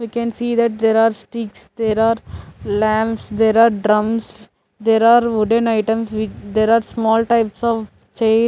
we can see that there are sticks there are lamps there are drums there are wooden items with there are small types of chair --